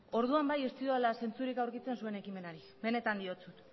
orduan bai ez dudala zentzurik aurkitzen zuen ekimenari benetan diotsut